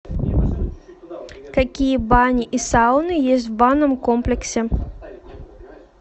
какие бани и сауны есть в банном комплексе